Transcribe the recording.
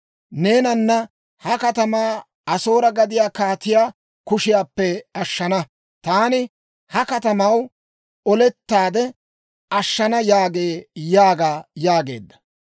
Neenanne ha katamaa Asoore gadiyaa kaatiyaa kushiyaappe ashshana; taani ha katamaw olettaade ashshana yaagee› » yaaga yaageedda.